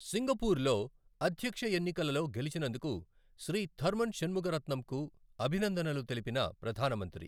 Singapore లో అధ్యక్షఎన్నికలలో గెలిచినందుకు శ్రీ థర్మన్ శణ్ముగరత్నంకు అభినందనలు తెలిపిన ప్రధానమంత్రి